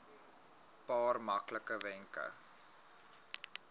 paar maklike wenke